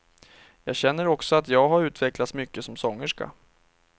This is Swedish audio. Jag känner också att jag har utvecklats mycket som sångerska.